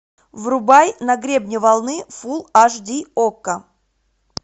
врубай на гребне волны фул аш ди окко